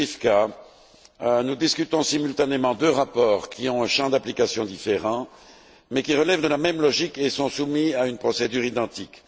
Zwiefka, nous discutons simultanément de deux rapports qui ont un champ d'application différent, mais qui relèvent de la même logique et sont soumis à une procédure identique.